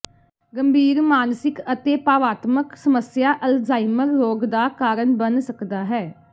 ਗੰਭੀਰ ਮਾਨਸਿਕ ਅਤੇ ਭਾਵਾਤਮਕ ਸਮੱਸਿਆ ਅਲਜ਼ਾਈਮਰ ਰੋਗ ਦਾ ਕਾਰਨ ਬਣ ਸਕਦਾ ਹੈ